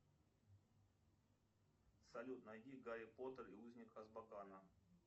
салют найди гарри поттер и узник азкабана